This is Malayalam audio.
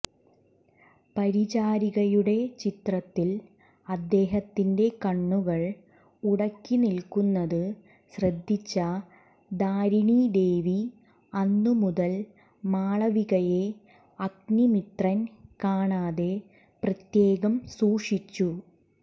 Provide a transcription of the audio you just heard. പരിചാരികയുടെ ചിത്രത്തിൽ അദ്ദേഹത്തിന്റെ കണ്ണുകൾ ഉടക്കി നിൽക്കുന്നത് ശ്രദ്ധിച്ച ധാരിണീദേവി അന്നുമുതൽ മാളവികയെ അഗ്നിമിത്രൻ കാണാതെ പ്രത്യേകം സൂക്ഷിച്ചു